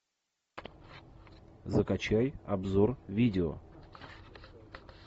закачай обзор видео